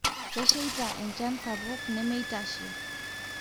keishaita enchan sapuk nemeitashe.